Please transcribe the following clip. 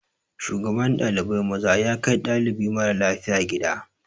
Shugaban ɗalibai maza ya kai ɗalibi mara lafiya gida.